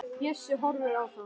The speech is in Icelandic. Bjössi horfir á þá.